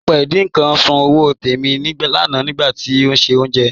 Apẹ́ ìdin nkan sún ọwọ́ Tẹ́mi lánà nigbàtí ó n ṣe ọ̀unjẹ́.